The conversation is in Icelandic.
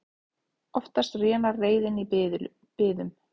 Oftast rénar reiðin í biðum.